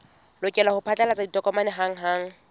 lokela ho phatlalatsa ditokomane hanghang